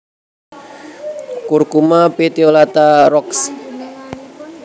Curcuma petiolata Roxb